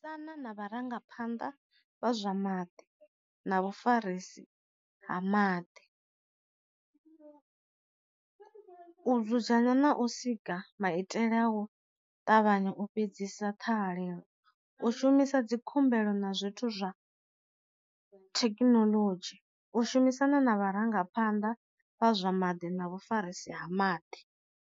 Sana na vha rangaphanḓa vha zwa maḓi na vhafarisi ha maḓi, u dzudzanya na u sika maitele ao u ṱavhanya u fhedzisa ṱhahelelo, u shumisa dzi khumbelo na zwithu zwa thekinoḽodzhi, u shumisana na vha rangaphanḓa vha zwa maḓi na vhafarisi ha maḓi.